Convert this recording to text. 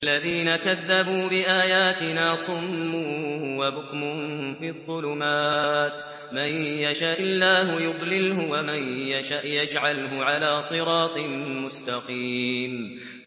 وَالَّذِينَ كَذَّبُوا بِآيَاتِنَا صُمٌّ وَبُكْمٌ فِي الظُّلُمَاتِ ۗ مَن يَشَإِ اللَّهُ يُضْلِلْهُ وَمَن يَشَأْ يَجْعَلْهُ عَلَىٰ صِرَاطٍ مُّسْتَقِيمٍ